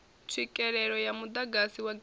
tswikelele ya muḓagasi wa grid